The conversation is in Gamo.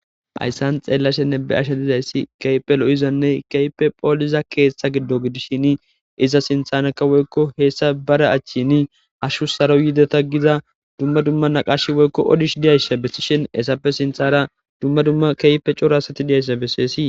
Haysan be'ashenne xelashe dizaysi kehipe lo'izanne kehipe pholiza ketha gido gidishin iza sintaraka woyko heysa bere achan hashu saro yideta gida duma duma naqashi woyko odishe diyaysa besishen etape sintara duma duma kehipe c'ora asati diyaysa beses.